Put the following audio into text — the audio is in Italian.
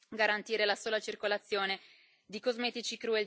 garantire la sola circolazione di cosmetici